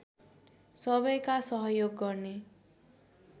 सबैका सहयोग गर्ने